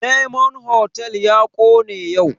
Diyamond hotal ya kone yau